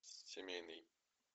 семейный